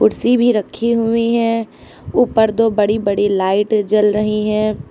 कुर्सी भी रखी हुई हैं। ऊपर दो बड़ी बड़ी लाइट जल रही हैं।